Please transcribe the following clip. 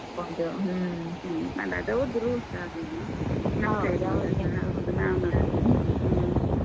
ಅದ್ ಅವ್ರ್ದು rules ಹಾಗೆನೇ. ಹೌದು ನಾವ್ ನೋಡ್ಕೋಬೇಕ್ ಹೌದು ಹ್ಮ.